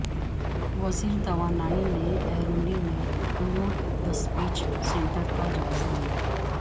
وزیر توانائی نے ایرولی میں لوڈ ڈسپیچ سینٹرکا جائزہ لیا